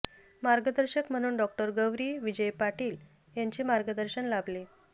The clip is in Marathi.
मार्गदर्शक म्हणून डॉ़ गौरी विजय पाटील यांचे मार्गदर्शन लाभले